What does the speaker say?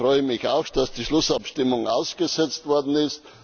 Ich freue mich auch, dass die Schlussabstimmung ausgesetzt worden ist.